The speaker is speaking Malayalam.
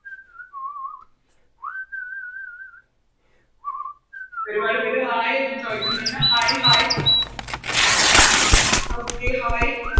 ഒരുപാട് പേര് Hai ഒക്കെ ചോയിക്കുന്നുണ്ട് Hai hai Okay hai